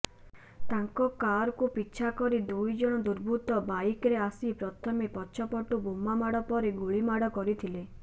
ତାଙ୍କ କାରକୁ ପିଛା କରି ଦୁଇଜଣ ଦୁର୍ବୃତ୍ତ ବାଇକ୍ରେ ଆସି ପ୍ରଥମେ ପଛପଟୁ ବୋମାମାଡ଼ ପରେ ଗୁଳିମାଡ଼ କରିଥିଲେ